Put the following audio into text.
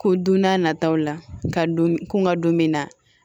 Ko don n'a nataw la ka don kun ka don min na